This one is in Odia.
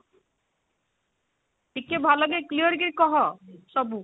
ଟିକେ ଭଲକି clear କି କହ ସବୁ